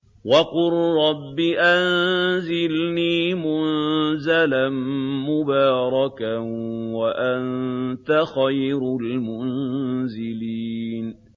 وَقُل رَّبِّ أَنزِلْنِي مُنزَلًا مُّبَارَكًا وَأَنتَ خَيْرُ الْمُنزِلِينَ